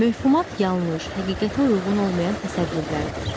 Mövhumat yanlış, həqiqətə uyğun olmayan təsəvvürlərdir.